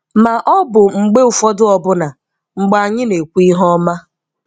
Ma ọ bụ mgbe ụfọdụ ọbụna mgbe anyị na-ekwu ihe ọma.